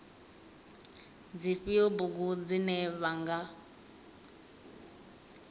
dzifhio bugu dzine vha nga